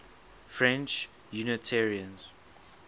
french unitarians